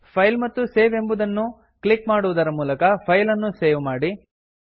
file ಮತ್ತು save ಎಂಬುದನ್ನು click ಮಾಡುವುದರ ಮೂಲಕ ಫೈಲ್ ಅನ್ನು ಸೇವ್ ಮಾಡಿ